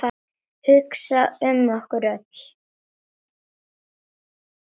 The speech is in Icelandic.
Hugsa um okkur öll.